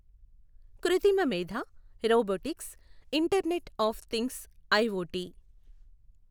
కృత్రిమ మేథ, robotics, internet of things IoT